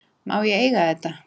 Má ég eiga þetta?